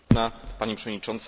Pani przewodnicząca!